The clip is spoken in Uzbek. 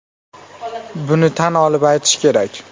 Buni tan olib aytish kerak.